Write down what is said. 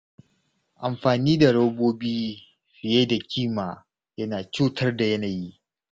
Amfani da robobi fiye da kima yana cutar da yanayi.